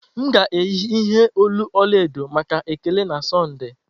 M ga-eyi ihe olu ọla edo maka Ekele na Sọnde.